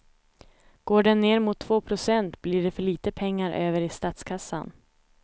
Går den ner mot två procent blir det för lite pengar över i statskassan.